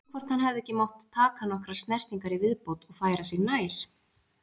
Spurning hvort hann hefði ekki mátt taka nokkrar snertingar í viðbót og færa sig nær?